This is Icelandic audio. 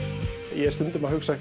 ég er stundum að hugsa